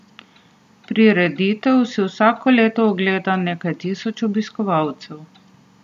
Prireditev si vsako leto ogleda nekaj tisoč obiskovalcev.